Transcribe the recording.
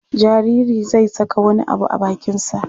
Jaririi zai saka wani abu a bakinsa.